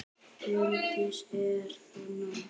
Hjördís: Er það nóg?